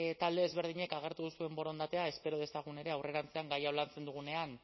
talde ezberdinek agertu duzuen borondatea espero dezagun ere aurrerantzean gai hau lantzen dugunean